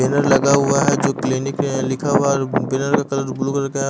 Banner लगा हुआ है जो क्लीनिक है लिखा हुआ है बैनर का कलर ब्लू कलर का है।